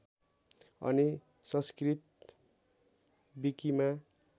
अनि संस्कृत विकिमा